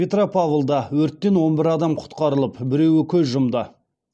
петропавлда өрттен он бір адам құтқарылып біреуі көз жұмды